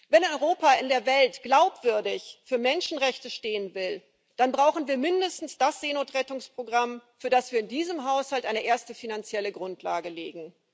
Wenn Europa in der Welt glaubwürdig für Menschenrechte stehen will, dann brauchen wir mindestens das Seenotrettungsprogramm, für das wir in diesem Haushalt eine erste finanzielle Grundlage legen.